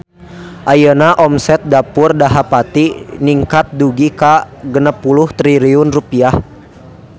Ayeuna omset Dapur Dahapati ningkat dugi ka 60 triliun rupiah